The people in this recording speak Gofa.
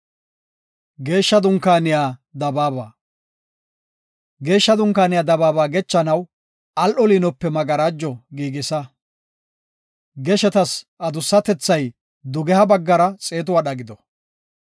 “Geeshsha Dunkaaniya dabaaba gechanaw al7o liinope magarajo giigisa. Geshetas adussatethay dugeha baggara xeetu wadha gido.